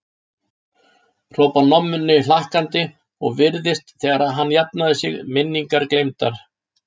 hrópar Nonni hlakkandi og virðist þegar hafa jafnað sig, minningar gleymdar.